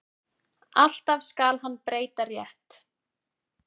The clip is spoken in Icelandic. Alltaf skal hann breyta rétt.